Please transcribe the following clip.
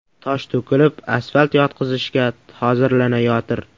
Tosh to‘kilib, asfalt yotqizishga hozirlanayotir.